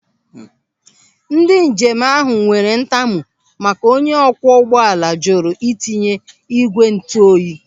Ndị njem ahụ nwere ntamu maka onye ọkwọ ụgbọala jụrụ itinye ị́gwè ntuoyi.